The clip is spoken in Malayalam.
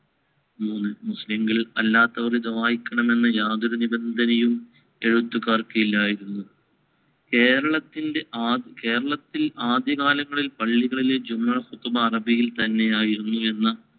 മൂന്ന് മുസ്ലിംങ്ങൾ അല്ലാത്തവർ ഇത് വായിക്കണമെന്ന് യാതൊരു നിബന്ധനയും എഴുത്തുകാർക്കില്ലായിരുന്നു. കേരളത്തിന്‍റെ ആ~ കേരളത്തിൽ ആദ്യകാലങ്ങളിൽ പള്ളികളിലെ അറബിയിൽ തന്നെയായിരുന്നു എന്ന